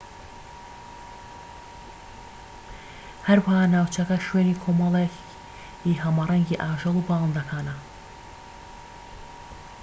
هەروەها ناوچەکە شوێنی کۆمەڵێکی هەمەرەنگی ئاژەڵ و باڵندەکانە